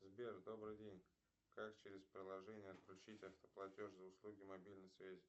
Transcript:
сбер добрый день как через приложение отключить автоплатеж за услуги мобильной связи